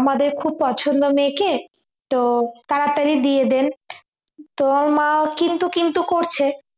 আমাদের খুব পছন্দ মেয়েকে তো তাড়াতাড়ি বিয়ে দেন তো মা কিন্তু কিন্তু করছে